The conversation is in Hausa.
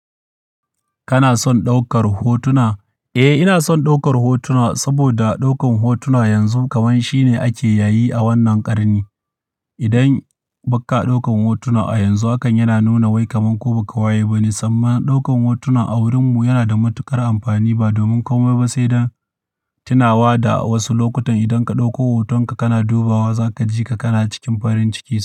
Kana son ɗaukar hotuna? Eh, ina son ɗaukar hotuna saboda ɗaukan hotuna yanzu kamar shine ake yayi a wannan ƙarni. Idan ba ka ɗaukan hotuna a yanzu hakan yana nuna wai kaman kai baka waye bane, sannan ɗaukan hotuna a wurinmu yana da matuƙar amfani ba domin komai ba sai dan tunawa da wasu lokutan idan ka ɗauko hotonka kana dubawa zaka ji ka kana cikin farin ciki.